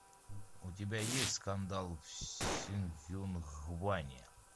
у тебя есть скандал в сонгюнгване